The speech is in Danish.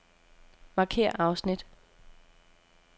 Markér afsnit.